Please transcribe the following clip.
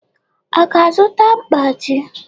Ọ ga-azụta mkpachi?